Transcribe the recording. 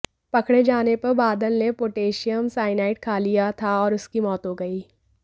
पकड़े जाने पर बादल ने पोटाशियम साइनाइड खा लिया था और उसकी मौत हो गई